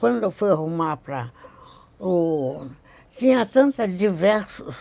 Quando eu fui arrumar para o... Tinha tanta diversos.